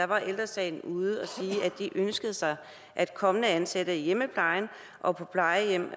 var ældre sagen ude at sige at de ønskede sig at kommende ansatte i hjemmeplejen og på plejehjem